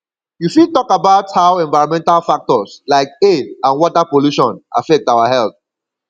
you fit talk about how environmental factors like air and water pollution affect our health